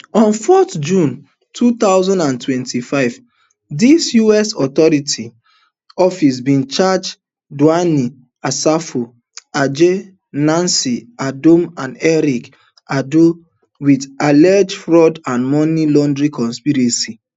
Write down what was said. on four june two thousand and twenty-five di us attorney office bin charge dwayne asafo adjei nancy adom and eric aidoo wit alleged fraud and money laundering conspiracies